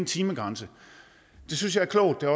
timegrænse det synes jeg er klogt og